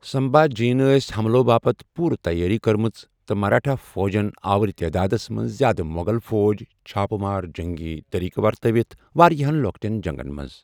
سمبھا جِین ٲسۍ حملوٚ باپتھ پوٗرِ تیٲری کٕرمٕژ تہٕ مراٹھا فوجن آوۄر تادادس منز زِیادٕ موٚغل فوج چھاپہٕ مار جنگی طریقہٕ ورتٲوِتھ وارِیاہن لوٚکٹین جنگن منز ۔